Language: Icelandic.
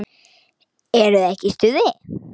Eruð þið ekki í stuði?